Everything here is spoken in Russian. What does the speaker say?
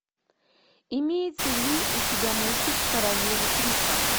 имеется ли у тебя мультик королевы крика